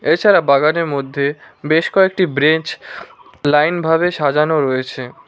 এছাড়া বাগানের মধ্যে বেশ কয়েকটি ব্রেঞ্চ লাইনভাবে সাজানো রয়েছে।